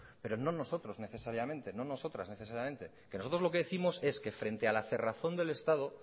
pero no nosotros necesariamente no nosotras necesariamente que nosotros lo que décimos es que frente a la cerrazón del estado